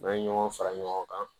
N'an ye ɲɔgɔn fara ɲɔgɔn kan